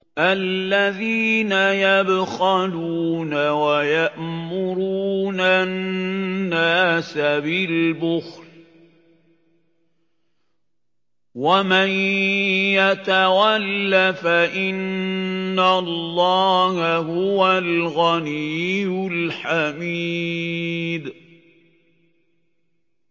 الَّذِينَ يَبْخَلُونَ وَيَأْمُرُونَ النَّاسَ بِالْبُخْلِ ۗ وَمَن يَتَوَلَّ فَإِنَّ اللَّهَ هُوَ الْغَنِيُّ الْحَمِيدُ